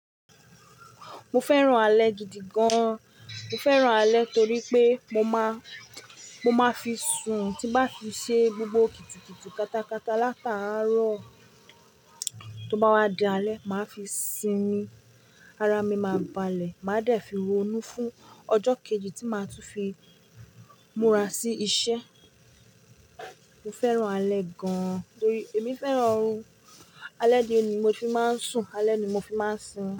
Mo fẹ́ràn alẹ́ gidi gan. Mo fẹ́ràn alẹ́ torí pé mo má, mo máa fi sùn, tí bá fi ṣe gbogbo kítíkítí katakata látàárọ̀ tó bá wá di alẹ́, màá fi sín ín, ara mi máa balẹ̀, màá dẹ̀ fi ronú fún ọjọ́ kejì tí màá tún fi múra sí iṣẹ́. Mo fẹ́ràn alẹ́ gan torí èmi fẹ́ràn orun, alẹ́ ni mo fi máa ń sùn, alẹ́ ni mo fi máa ń sinmi.